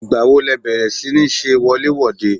Ìgbà wo le bẹ̀rẹ̀ si ní ṣe wọlé-wòde?